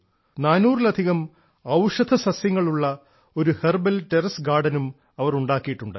നാനൂറിലധികം ഔഷധസസ്യങ്ങളുള്ള ഒരു ഹെർബൽ ഗാർഡനും അവർ ഉണ്ടാക്കിയിട്ടുണ്ട്